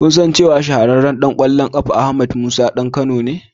Ko kun san cewa shahararren ɗan kwallon kafa Ahmed Musa ɗan Kano ne?